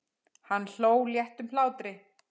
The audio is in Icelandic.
Hann hló léttum hlátri.